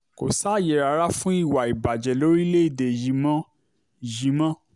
kò sáàyè rárá fún ìwà ìbàjẹ́ lórílẹ̀‐èdè yìí mọ́ yìí mọ́